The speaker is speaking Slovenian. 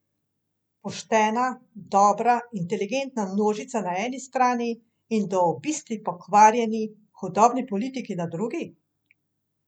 Poštena, dobra, inteligentna množica na eni strani in do obisti pokvarjeni, hudobni politiki na drugi?